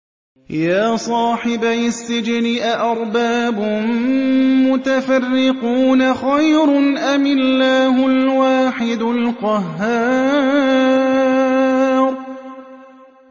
يَا صَاحِبَيِ السِّجْنِ أَأَرْبَابٌ مُّتَفَرِّقُونَ خَيْرٌ أَمِ اللَّهُ الْوَاحِدُ الْقَهَّارُ